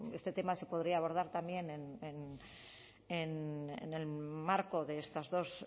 bueno este tema se podría abordar también en el marco de estas dos